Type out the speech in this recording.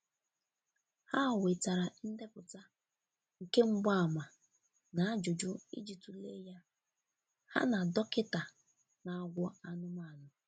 Ha wetara ndepụta nke mgbaàmà na ajụjụ iji tule ya, ha na dọkita na-agwọ anụmanụ.